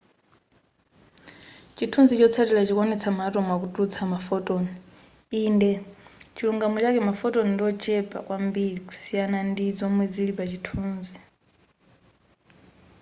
chithunzi chotsatila chikuonetsa ma atom akutulutsa ma photon inde pachilungamo chake ma photon ndiochepa kwambiri kusiyana ndi zomwe zili pa chithunzi